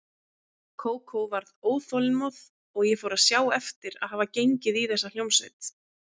Kókó varð óþolinmóð og ég fór að sjá eftir að hafa gengið í þessa hljómsveit.